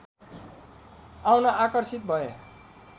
आउन आकर्षित भए